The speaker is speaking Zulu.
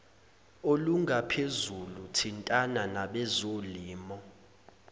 olungaphezulu thintana nabezolimo